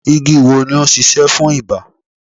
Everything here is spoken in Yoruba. Igi wo ni o ń sisẹ́ fún ibà